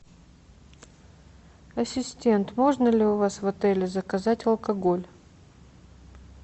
ассистент можно ли у вас в отеле заказать алкоголь